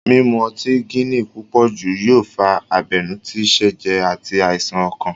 Mímu ọtí gini púpòjù yóò fa abenú tí sẹ̀jẹ̀ àti àìsàn ọkàn